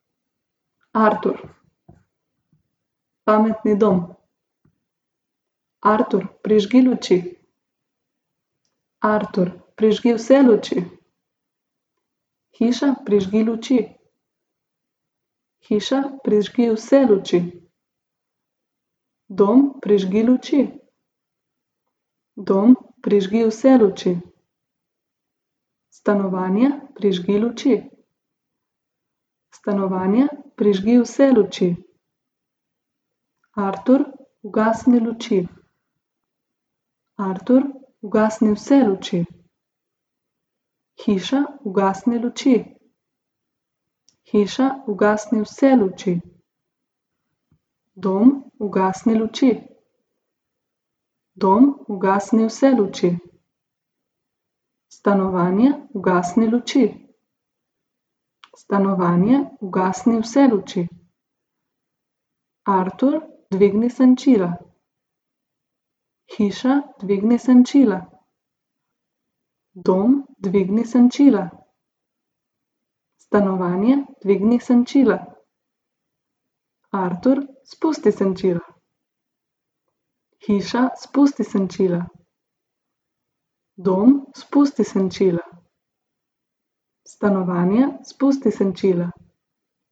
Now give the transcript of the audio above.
Artur. Pametni dom. Artur, prižgi luči. Artur, prižgi vse luči. Hiša, prižgi luči. Hiša, prižgi vse luči. Dom, prižgi luči. Dom, prižgi vse luči. Stanovanje, prižgi luči. Stanovanje, prižgi vse luči. Artur, ugasni luči. Artur, ugasni vse luči. Hiša, ugasni luči. Hiša, ugasni vse luči. Dom, ugasni luči. Dom, ugasni vse luči. Stanovanje, ugasni luči. Stanovanje, ugasni vse luči. Artur, dvigni senčila. Hiša, dvigni senčila. Dom, dvigni senčila. Stanovanje, dvigni senčila. Artur, spusti senčila. Hiša, spusti senčila. Dom, spusti senčila. Stanovanje, spusti senčila.